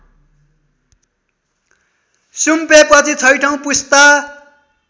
सुम्पेपछि छैँठो पुस्ता